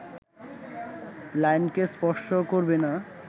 লাইনকে স্পর্শ করবে না